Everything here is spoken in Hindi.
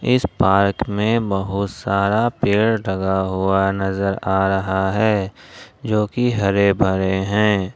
इस पार्क में बहुत सारा पेड़ लगा हुआ नजर आ रहा है जो कि हरे भरे हैं।